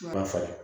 Ma falen